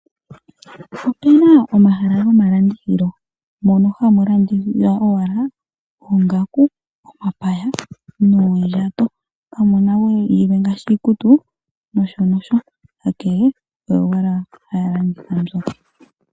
Otuna omahala gomalandithilo mono hamulandithilwa owala oongaku, omapaya noondjato, kamuna we yilwe ngaashi iikutu nosho nosho onkee oyo wala haya landitha mbyoka.